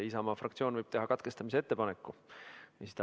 Isamaa fraktsioon võib teha katkestamise ettepaneku.